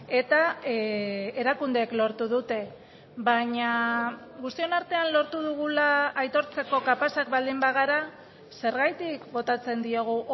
eta erakundeek lortu dute baina guztion artean lortu dugula aitortzeko kapazak baldin bagara zergatik botatzen diegu